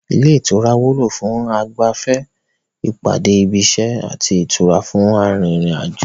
Ilé ìtura wúlò fún ìgbafẹ́, ìpàdé ibi iṣẹ́, àti ìtura fún arin ìrìnàjò